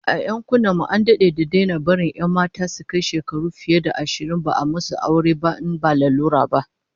A yankunan mu an dade da daina barin 'yan mata su kai shekaru fiye da ashirin ba a musu aure ba in ba lalura ba